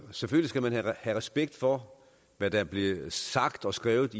selvfølgelig skal man have respekt for hvad der blev sagt og skrevet